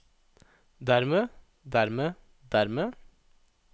dermed dermed dermed